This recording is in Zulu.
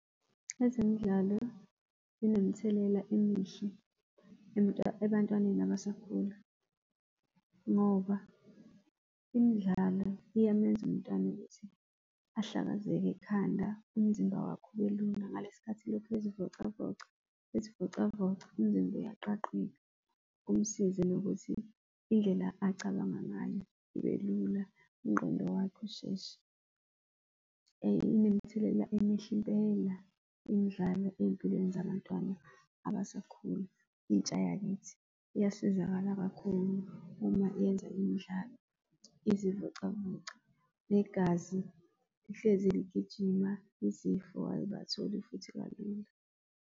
Ezemidlalo zinemithelela emihle ebantwaneni abasakhula ngoba imidlalo iyamenza umntwana ukuthi ahlakazeke ekhanda umzimba wakhe ubelula ngalesikhathi elokhu ezivocavoca umzimba uyaqaqeka kumsize nokuthi indlela acabanga ngayo ibelula, ingqondo yakhe isheshe, inemithelela emihle impela imidlalo eyimpilweni zabantwana abasakhula intsha yakithi iyasizakala kakhulu uma yenza imidlalo izivocavoca negazi lihlezi ligijima izifo ayibatholi futhi kalula.